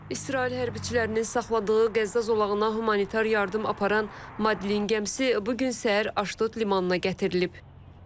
İsrail hərbiçilərinin saxladığı Qəzza zolağına humanitar yardım aparan Madlen gəmisi bu gün səhər Aşdod limanına gətirilib.